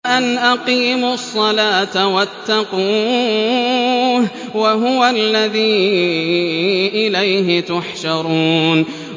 وَأَنْ أَقِيمُوا الصَّلَاةَ وَاتَّقُوهُ ۚ وَهُوَ الَّذِي إِلَيْهِ تُحْشَرُونَ